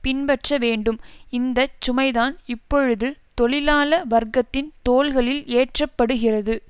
பின்பற்ற வேண்டும் இந்த சுமைதான் இப்பொழுது தொழிலாள வர்க்கத்தின் தோள்களில் ஏற்றப்படுகிறது